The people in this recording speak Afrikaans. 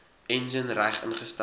enjin reg ingestel